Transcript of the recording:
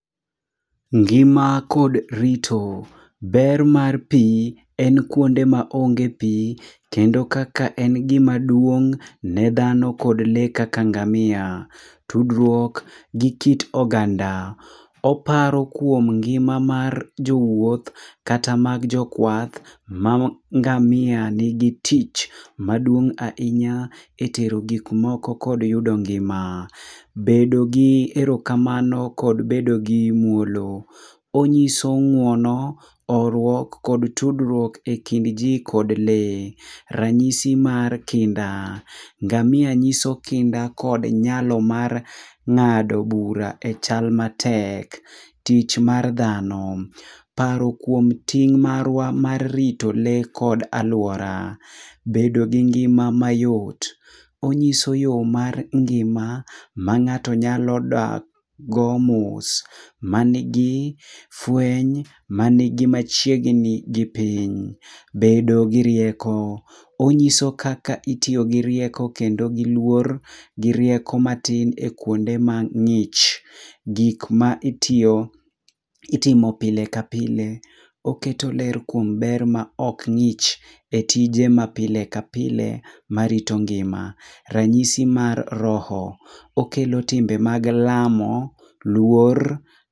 Ngima kod rito. Ber mar pi en kuonde ma onge pi. Kendo kaka en gima duong' ne dhano kod le kaka ngamia. Tudruok gi kit oganda. Oparo kuom ngima mar jo wuoth, kata mag jokwath, ma ngamia nigi tich maduong' ahinya e tero gik moko kod yudo ngima. Bedo gi erokamano kod bedo gi muolo. Onyiso ngúono, horuok, kod tudruok e kind ji kod lee. Ranyisi mar Kinda. Ngamia nyiso kinda kod nyalo mar ngádo bura e chal matek. Tich mar dhano. Paro kuom ting marwa mar rito lee kod alwora. Bedo gi ngima mayot. Onyiso yo mar ngima, ma ngáto nyalo dak go mos, manigi fweny, manigi machiegni gi piny. Bedo gi rieko. Onyiso kaka itiyo gi rieko kendo gi luor, gi rieko matin e kuonde ma ngích. Gik ma itiyo, itimo pile ka pile. Oketo ler kuom ber ma ok ngích e tije ma pile ka pile ma rito ngima. Ranyisi mar roho. Okelo timbe mag lamo, luor,